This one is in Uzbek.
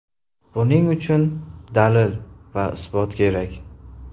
Buning uchun dalil va isbot kerak.